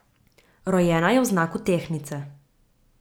Rojena je v znaku tehtnice.